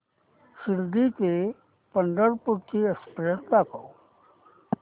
शिर्डी ते पंढरपूर ची एक्स्प्रेस दाखव